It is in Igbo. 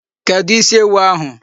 Kedụ isi ewu ahụ?